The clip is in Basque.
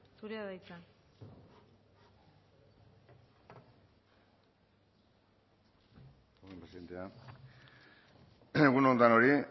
zurea da hitza egun on denoi